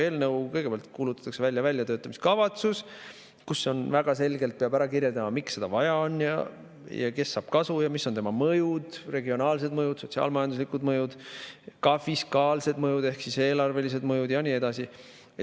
Kõigepealt kuulutatakse välja väljatöötamiskavatsus, kus väga selgelt peab ära kirjeldama, miks seda vaja on, kes saab kasu ja mis on eelnõu mõjud: regionaalsed mõjud, sotsiaal-majanduslikud mõjud, ka fiskaalsed mõjud ehk siis eelarvelised mõjud, ja nii edasi.